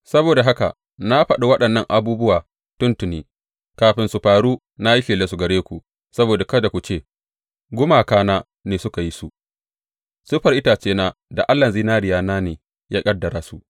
Saboda haka na faɗa waɗannan abubuwa tuntuni; kafin su faru na yi shelarsu gare ku saboda kada ku ce, Gumakana ne suka yi su; siffar itacena da allahn zinariyana ne ya ƙaddara su.’